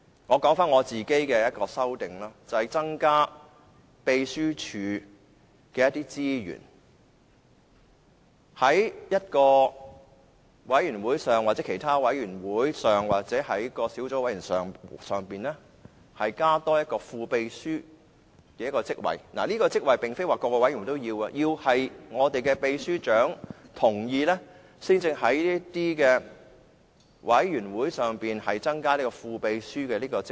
我其中一項修訂，是增加秘書處的資源，在委員會或小組委員會增設一個副秘書職位，並不是所有委員會也要設立，而是要得到秘書長的同意，才能夠在委員會內增設副秘書一職。